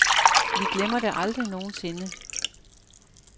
Vi glemmer det aldrig nogen sinde.